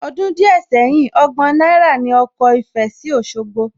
Ọdún díẹ̀ sẹ́yìn, ọgbọ̀n náírà ní ọkọ̀ ìfẹ sí Òsogbo